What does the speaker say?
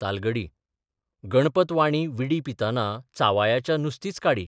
तालगडी गणपत वाणी विडी पिताना चावायाचा नुसतीच काडी....